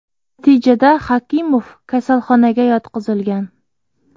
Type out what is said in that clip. Natijada Hakimov kasalxonaga yotqizilgan.